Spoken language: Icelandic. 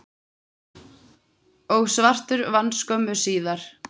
og svartur vann skömmu síðar.